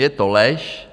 Je to lež.